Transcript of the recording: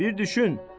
Bir düşün.